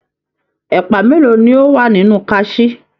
Ẹ̀pà mélòó ni o wà nínú kàsí.